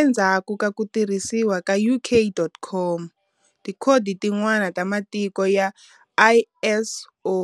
Endzhaku ka ku tirhisiwa ka UK.COM, tikhodi tin'wana ta Matiko ya ISO